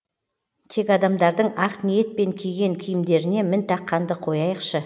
тек адамдардың ақ ниетпен киген киімдеріне мін таққанды қояйықшы